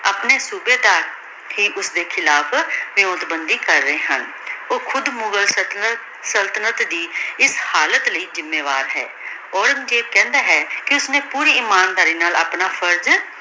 ਅਪਨੇ ਸੂਬੇਦਾਰ ਠੀਕ ਓਸਦੀ ਖਿਲਾਫ਼ ਕਰ ਰਹੀ ਹਨ ਊ ਖੁਦ ਮੁਘਾਲ ਸਲ੍ਤਨਤ ਸਲ੍ਤਨਤ ਦੀ ਏਸ ਹਾਲਤ ਲੈ ਜ਼ਿਮਾਵਰ ਹੈ ਔਰੇਨ੍ਗ੍ਜ਼ੇਬ ਕਹੰਦਾ ਹੈ ਕੇ ਓਸ੍ਨੀ ਪੋਰੀ ਇਮਾਨਦਾਰੀ ਨਾਲ ਆਪਣਾ ਫਰਜ਼